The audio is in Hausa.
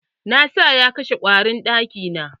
Na sa ya kashe ƙwarin ɗaki na.